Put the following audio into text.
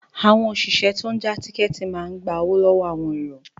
Àwọn òṣìṣẹ́ tó n já tíkẹ́ẹ̀tì náà ń gba owó lọ́wọ́ àwọn èrò